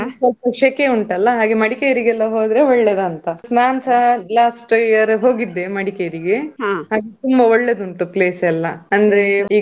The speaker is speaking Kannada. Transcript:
ಸ್ವಲ್ಪ ಶೆಕೆ ಉಂಟಲ್ಲ. ಹಾಗೆ ಮಡಿಕೇರಿಗೆ ಎಲ್ಲಾ ಹೋದ್ರೆ ಒಳ್ಳೇದಾ ಅಂತ. ನಾನ್ಸ last year ಹೋಗಿದ್ದೆ ಮಡಿಕೇರಿಗೆ. ತುಂಬಾ ಒಳ್ಳೆದುಂಟು place ಎಲ್ಲಾ ಅಂದ್ರೆ.